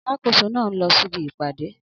Alákóso na nlọ síbi ìpàdé